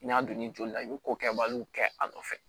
N'i y'a don ni joli la i be ko kɛbaliw kɛ a nɔfɛ